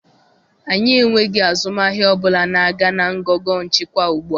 Anyị enweghị azụmahịa ọ bụla na-aga na ngọngọ nchịkwa ugbu a.